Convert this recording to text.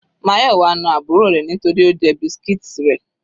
Mayowa na àbúrò rẹ̀ nítorí Ó jẹ biscuits rẹ̀.